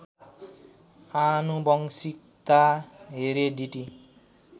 आनुवंशिकता हेरेडिटी